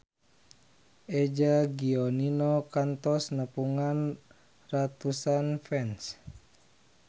Eza Gionino kantos nepungan ratusan fans